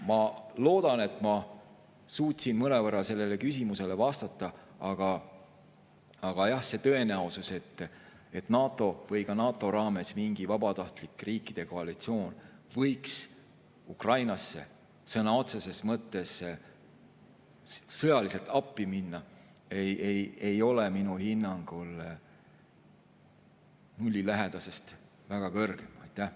Ma loodan, et ma suutsin mõnevõrra sellele küsimusele vastata, aga jah, tõenäosus, et NATO või NATO raames mingi vabatahtlik riikide koalitsioon võiks Ukrainasse sõna otseses mõttes sõjaliselt appi minna, ei ole minu hinnangul nullilähedasest väga palju kõrgem.